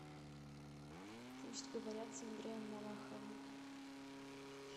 пусть говорят с андреем малаховым